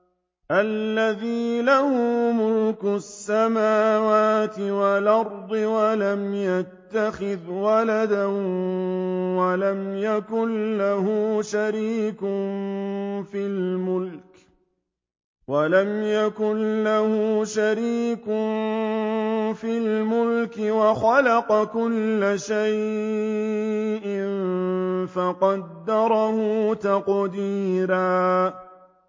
الَّذِي لَهُ مُلْكُ السَّمَاوَاتِ وَالْأَرْضِ وَلَمْ يَتَّخِذْ وَلَدًا وَلَمْ يَكُن لَّهُ شَرِيكٌ فِي الْمُلْكِ وَخَلَقَ كُلَّ شَيْءٍ فَقَدَّرَهُ تَقْدِيرًا